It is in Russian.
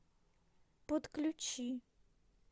подключи